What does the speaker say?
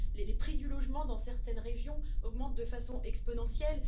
Les prix du logement dans certaines régions augmentent de façon exponentielle.